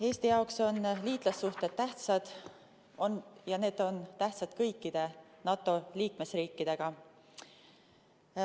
Eesti jaoks on liitlassuhted tähtsad ja need on tähtsad kõikide NATO liikmesriikidega.